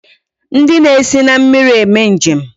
Ndi na esi na mmiri eme njem